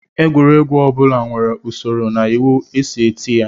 Egwuregwu ọ bụla nwere usoro na iwu e si eti ya